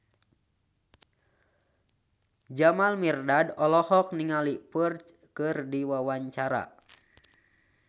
Jamal Mirdad olohok ningali Ferdge keur diwawancara